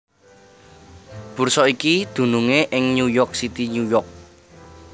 Bursa iki dunungé ing New York City New York